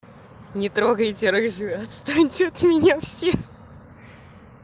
не трогайте рыжую отстаньте от меня все